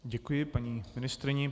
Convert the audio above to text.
Děkuji paní ministryni.